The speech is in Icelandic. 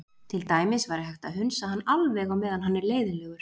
Til dæmis væri hægt að hunsa hann alveg á meðan hann er leiðinlegur.